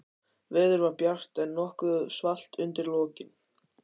Veður var bjart, en nokkuð svalt undir lokin.